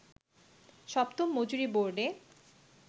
সপ্তম মজুরি বোর্ডে